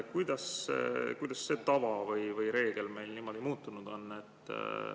Kuidas see tava või reegel meil nii palju muutunud on?